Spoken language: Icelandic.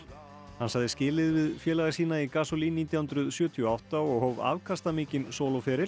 hann sagði skilið við félaga sína í Gasolin nítján hundruð sjötíu og átta og hóf afkastamikinn